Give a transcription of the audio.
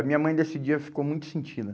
A minha mãe, nesse dia, ficou muito sentida.